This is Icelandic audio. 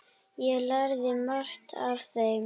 Ég lærði margt af þeim.